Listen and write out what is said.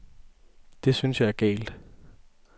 Det synes jeg er galt.